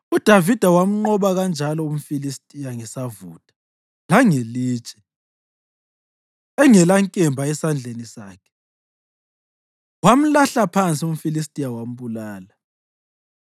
UDavida wamnqoba kanjalo umFilistiya ngesavutha langelitshe; engelankemba esandleni sakhe wamlahla phansi umFilistiya wambulala.